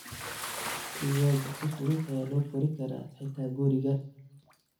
Digaagga si fudud ayaa loo kori karaa xitaa guriga.